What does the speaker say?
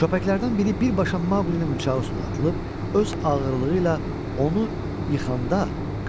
Köpəklərdən biri birbaşa Maqlinin bıçağı üstünə atılıb öz ağırlığı ilə onu yıxanda,